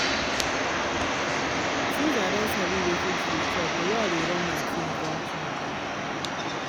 since i don sabi wetin to dey chop the way i dey run my things don change